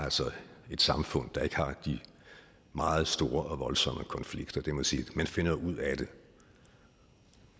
et samfund der ikke har de meget store og voldsomme konflikter det må jeg sige man finder ud af det